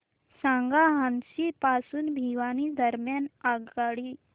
सांगा हान्सी पासून भिवानी दरम्यान आगगाडी